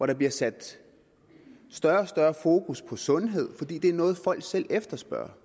der bliver sat større og større fokus på sundhed fordi det er noget folk selv efterspørger